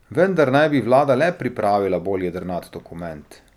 Vendar naj bi vlada le pripravila bolj jedrnat dokument.